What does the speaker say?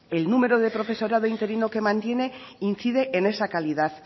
el número de profesorado interino que mantiene incide en esa calidad